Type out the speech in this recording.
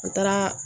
U taara